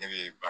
Ne be ba